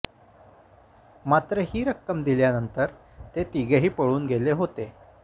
मात्र ही रक्कम दिल्यानंतर ते तिघेही पळून गेले होते